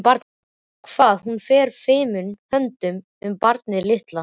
Hvað hún fer fimum höndum um barnið litla.